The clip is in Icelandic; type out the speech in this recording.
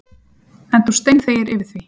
En þú steinþegir yfir því.